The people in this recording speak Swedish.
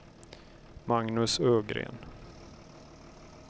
Magnus Ögren